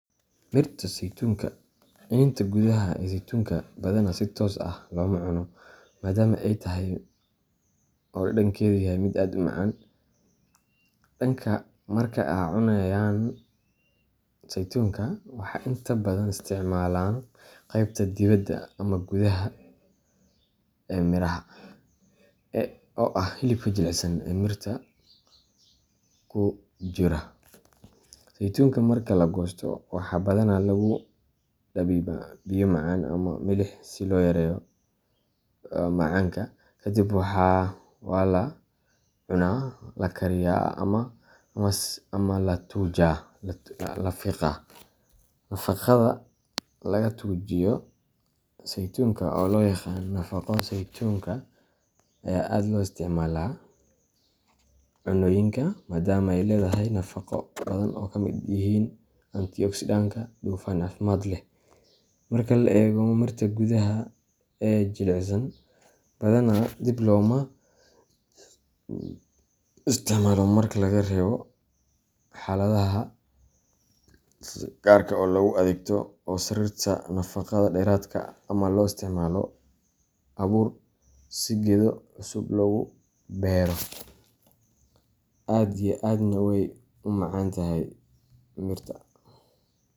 Mirta saytuunka iniinta gudaha ee saytuunka badanaa si toos ah looma cuno, maadaama ay adag tahay oo dhadhankeedu yahay mid aad u macan. Dadka marka ay cunayaan saytuunka, waxa ay inta badan isticmaalaan qaybta dibedda ee gudaha, ee mirahaoo ah hilibka jilicsan ee mirta ku wareegsan. Saytuunka marka la goosto, waxaa badanaa lagu dabiibaa biyo macaan ama milix si loo yareeyo macanka, kadibna waa la cuna, la kariyaa, ama fiqaa laga tuujaa. Nafaqada laga tuujiyo saytuunka oo loo yaqaan nafaqo saytuunka ayaa aad loo isticmaalaa cunnooyinka, maadama ay leedahay nafaqo badan oo ay ka mid yihiin antioxidantska iyo dufan caafimaad leh. Marka la eego mirta gudaha ee jilicsan, badanaa dib looma isticmaalo marka laga reebo xaaladaha gaarka oo loogu adeegto soo saarista nafaqo dheeraad ah ama loo isticmaalo abuur si geedo cusub loogu beero. Aad iyo aad wey u macantahay mirta.